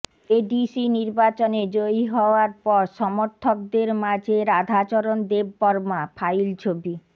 ADC নির্বাচনে জয়ী হওয়ার পর সমর্থকদের মাঝে রাধাচরণ দেববর্মা ফাইল ছবি